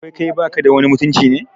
Wai kai baka da wani mutunci ne?